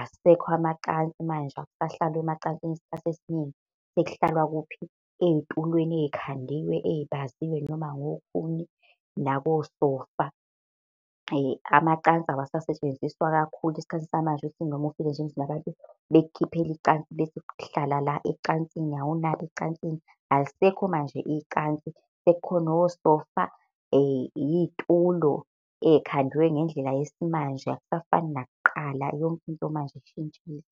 asekho amacansi manje, akusahlalwa emacansini isikhathi esiningi, sekuhlalwa kuphi ey'tulweni ey'khandIwe, ey'baziwe noma ngokhuni nakosofa. Amacansi awasasetshenziswa kakhulu esikhathi samanje kuthi noma ufika nje emzini yabantu bakukhiphele icansi bethi hlala la ecansini hhawu nali icansi. Alisekho manje icansi, sekukhona osofa, iy'tulo ey'khandwe ngendlela yesimanje, akusafani nakuqala yonke into manje ishintshile.